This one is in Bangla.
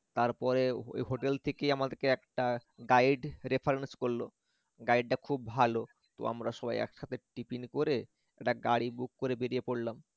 তারপরে ওই hotel থেকেই আমাদেরকে একটা guide reference করল guide টা খুব ভাল তো আমরা সবাই একসাথে tiffin করে একটা গাড়ি book বেরিয়ে পরলাম